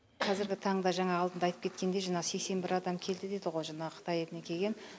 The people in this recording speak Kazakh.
қазіргі таңда жаңа алдында айтып кеткендей жаңағы сексен бір адам келді дейді ғо жаңағы қытай елінен кеген